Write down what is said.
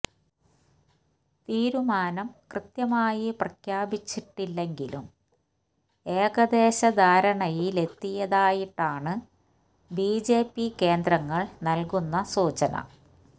തീരുമാനം കൃത്യമായി പ്രഖ്യാപിച്ചിട്ടില്ലെങ്കിലും ഏകദേശ ധാരണയിലെത്തിയതായിട്ടാണ് ബി ജെ പി കേന്ദ്രങ്ങള് നല്കന്ന സൂചന